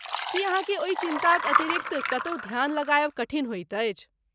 की अहाँकेँ ओहि चिन्ताक अतिरिक्त कतहु ध्यान लगायब कठिन होइत अछि?